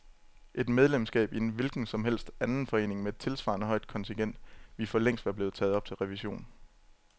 Et medlemskab i en hvilken som helst anden forening med et tilsvarende højt kontingent ville for længst være blevet taget op til revision.